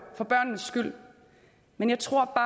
for børnenes skyld men jeg tror